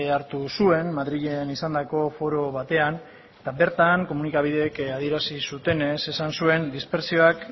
hartu zuen madrilen izandako foro batean eta bertan komunikabideek adierazi zutenez esan zuen dispertsioak